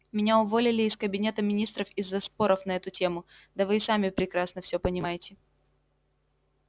меня уволили из кабинета министров из-за споров на эту тему да вы и сами прекрасно все понимаете